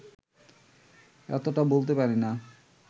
এতটা বলতে পারি না